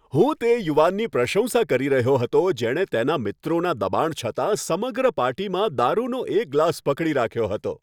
હું તે યુવાનની પ્રશંસા કરી રહ્યો હતો જેણે તેના મિત્રોના દબાણ છતાં સમગ્ર પાર્ટીમાં દારુનો એક ગ્લાસ પકડી રાખ્યો હતો.